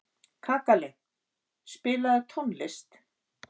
Kakali, spilaðu tónlist.